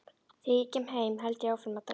Þegar ég kem heim held ég áfram að drekka.